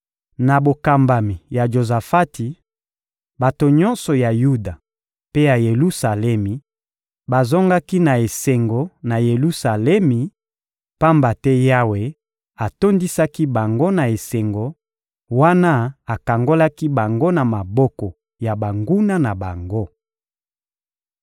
Na bokambami ya Jozafati, bato nyonso ya Yuda mpe ya Yelusalemi bazongaki na esengo na Yelusalemi, pamba te Yawe atondisaki bango na esengo wana akangolaki bango na maboko ya banguna na bango.